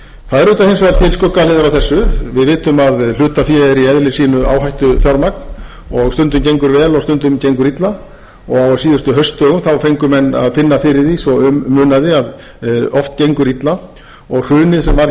það eru auðvitað hins vegar til skuggahliðar á þessu við vitum að hlutafé er í eðli sínu áhættufjármagn og stundum gengur vel og stundum gengur illa og á síðustu haustdögum fengu menn að finna fyrir því svo um munaði að oft gengur illa og hrunið varð hér